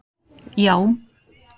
já